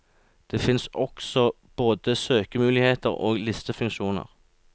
Det fins også både søkemuligheter og listefunksjoner.